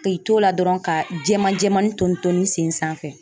K'i to o la dɔrɔn ka jɛman jɛman nin ton toni n sen sanfɛ.